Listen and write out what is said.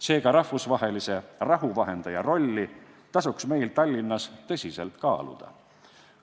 Seega, rahvusvahelise rahuvahendaja rolli tasuks meil Tallinnas tõsiselt kaaluda.